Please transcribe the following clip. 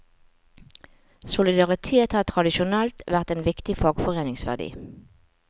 Solidaritet har tradisjonelt vært en viktig fagforeningsverdi.